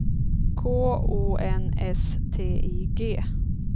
K O N S T I G